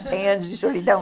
Cem anos de solidão